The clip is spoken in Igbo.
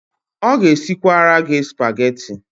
Ọ ga-esikwasara gị Spageti.